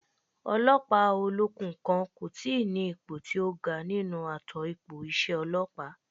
Ọlọ́pàá olókùn kan kò tíi ní ipò tí ó ga nínú ààtò ipò iṣẹ́ ọlọ́pàá